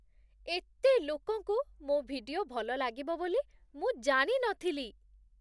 ଏତେ ଲୋକଙ୍କୁ ମୋ' ଭିଡିଓ ଭଲଲାଗିବ ବୋଲି ମୁଁ ଜାଣି ନଥିଲି!